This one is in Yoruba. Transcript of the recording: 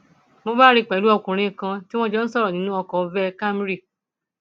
mo bá rí i pẹlú ọkùnrin kan tí wọn jọ ń sọrọ nínú ọkọ veh camry